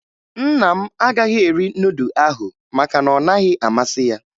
Nna m agaghị eri nudụ ahụ maka ọ naghị amasị ya